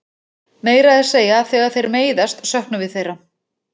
Meira að segja þegar þeir meiðast söknum við þeirra.